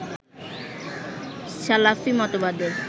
সালাফি মতবাদের